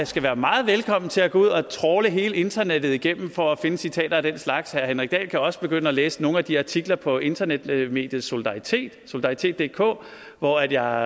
skal være meget velkommen til at gå ud og trawle hele internettet igennem for at finde citater af den slags herre henrik dahl kan også begynde at læse nogle af de artikler på internetmediet solidaritetdk solidaritetdk hvor jeg